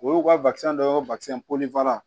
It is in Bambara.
O y'u ka dɔ ye polifa